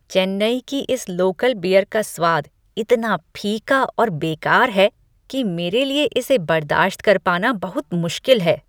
चेन्नई की इस local beer का स्वाद इतना फीका और बेकार है कि मेरे लिए इसे बर्दाश्त कर पाना बहुत मुश्किल है।